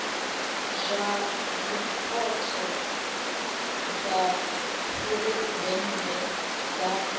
dza zwipotso dza phuresidennde dza